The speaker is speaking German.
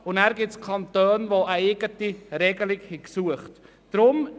Weiter gibt es Kantone, die eine eigene Regelung gesucht haben.